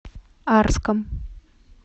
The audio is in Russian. арском